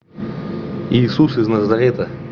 иисус из назарета